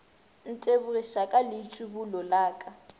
ntebogiša ka leitšibulo la ka